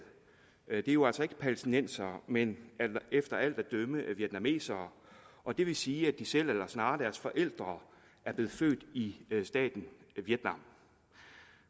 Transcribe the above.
er jo altså ikke palæstinensere men efter alt at dømme vietnamesere og det vil sige at de selv eller snarere deres forældre er blevet født i staten vietnam